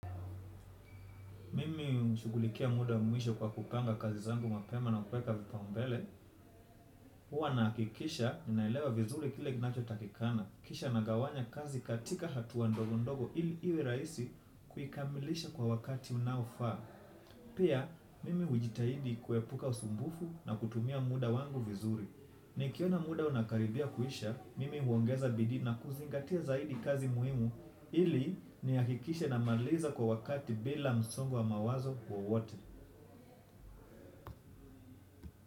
Mimi nashughulikia muda mwisho kwa kupanga kazi zangu mapema na kuweka vipaumbele. Huwa na hakikisha ninalewa vizuri kile kinacho takikana. Kisha nagawanya kazi katika hatua ndogo ndogo ili iwe rahisi kuikamilisha kwa wakati unaofaa. Pia, mimi hujitahidi kuepuka usumbufu na kutumia muda wangu vizuri. Nikiona muda unakaribia kuisha, mimi huongeza bidii na kuzingatia zaidi kazi muhimu. Ili nihakikishe namaliza kwa wakati bila msongo wa mawazo wowote.